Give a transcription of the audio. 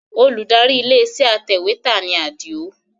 Olùdarí ilé iṣẹ́ atẹ̀wẹ́tà ni Adio